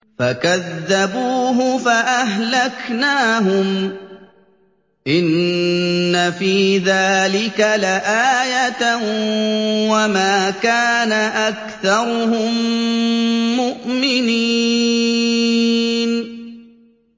فَكَذَّبُوهُ فَأَهْلَكْنَاهُمْ ۗ إِنَّ فِي ذَٰلِكَ لَآيَةً ۖ وَمَا كَانَ أَكْثَرُهُم مُّؤْمِنِينَ